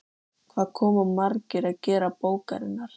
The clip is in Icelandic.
Eru þeir búnir að fá einstaklingseðli?